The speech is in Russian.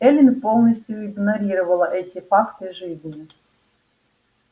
эллин полностью игнорировала эти факты жизни